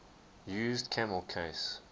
used camel case